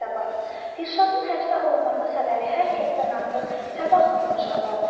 Dilşadın həbsə alınması xəbəri hər kəsdən artıq Səbah xanımı şadlandırdı.